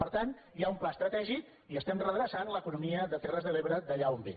per tant hi ha un pla estratègic i estem redreçant l’economia de terres de l’ebre d’allà on ve